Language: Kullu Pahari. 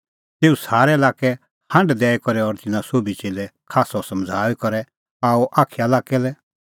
तेऊ सारै लाक्कै हांढ दैई करै और तिन्नां सोभी च़ेल्लै खास्सअ समझ़ाऊई करै आअ अखाया लाक्कै लै